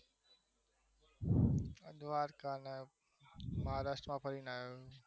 દ્વારકાને મહારાષ્ટ્રમાં ફરીને આવ્યો